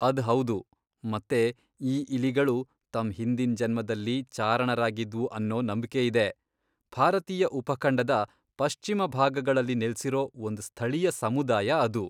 ಅದ್ ಹೌದು, ಮತ್ತೆ ಈ ಇಲಿಗಳು ತಮ್ ಹಿಂದಿನ್ ಜನ್ಮದಲ್ಲಿ ಚಾರಣರಾಗಿದ್ವು ಅನ್ನೋ ನಂಬ್ಕೆ ಇದೆ, ಭಾರತೀಯ ಉಪಖಂಡದ ಪಶ್ಚಿಮ ಭಾಗಗಳಲ್ಲಿ ನೆಲ್ಸಿರೋ ಒಂದ್ ಸ್ಥಳೀಯ ಸಮುದಾಯ ಅದು.